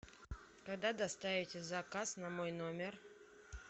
когда доставите заказ на мой номер